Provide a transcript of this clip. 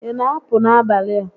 Ị na apụ n'abalị a?